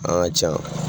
An ka ca